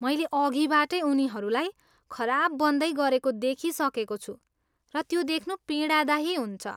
मैले अघिबाटै उनीहरूलाई खराब बन्दै गरेको देखिसकेको छु, र त्यो देख्नु पीडादायी हुन्छ।